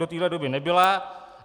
Do té doby nebyla.